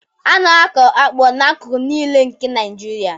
A na-akụ akpu n'akụkụ niile nke Naịjirịa